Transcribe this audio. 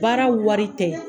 Baara wari tɛ.